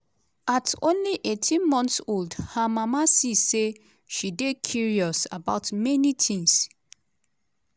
at only 18 months old her mama see say she dey curious about many tins.